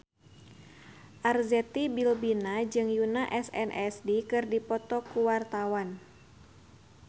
Arzetti Bilbina jeung Yoona SNSD keur dipoto ku wartawan